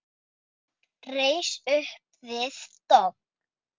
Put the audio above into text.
Reis upp við dogg.